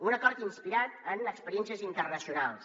un acord inspirat en experiències internacionals